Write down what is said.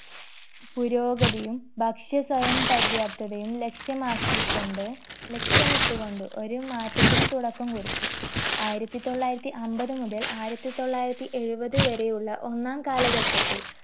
പുരോഗതിയും ഭക്ഷ്യ സ്വയം പര്യാപ്തതയും ലക്ഷ്യമാക്കിക്കൊണ്ട് ലക്ഷ്യമിട്ട് കൊണ്ട് ഒരു മാറ്റത്തിന് തുടക്കം കുറിച്ചു ആയിരത്തി തൊള്ളായിരത്തി അമ്പത് മുതൽ ആയിരത്തി തൊള്ളായിരത്തി എഴുപത് വരെയുള്ള ഒന്നാം കാലഘട്ടത്തിൽ